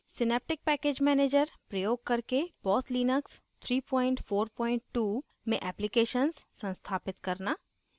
synaptic package manager प्रयोग करके boss Linux 342 में एप्लीकेशन्स संस्थापित करना